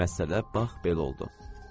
Məsələ bax belə oldu.